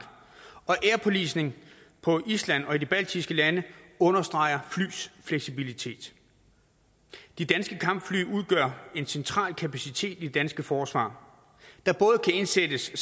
og air policing på island og i de baltiske lande understreger flyenes fleksibilitet de danske kampfly udgør en central kapacitet i det danske forsvar der både kan indsættes i